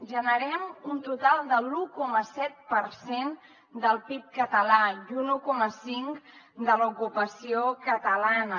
generem un total de l’un coma set per cent del pib català i un un coma cinc de l’ocupació catalana